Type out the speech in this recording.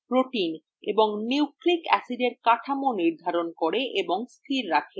proteins এবং nucleic অ্যাসিডের কাঠামো নির্ধারণ করে এবং স্থির রাখে